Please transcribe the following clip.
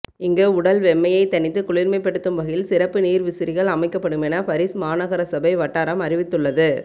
இங்கு உடல் வெம்மையை தணித்து குளிர்மைப்படுத்தும் வகையில் சிறப்பு நீர்விசிறிகள் அமைக்கப்படுமென பரிஸ் மாநகரசபை வட்டாரம் அறிவித்துள்ளது